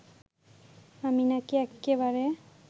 আমি নাকি এক্কেবারে